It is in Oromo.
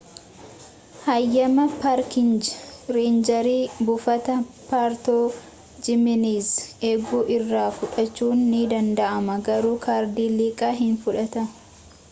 haayyama paarkingii reenjeri buufata poortoo jimeenezii eegu irraa fudhachuun ni danda'ama garuu kaardii liqaa hin fudhatan